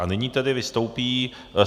A nyní tedy vystoupí...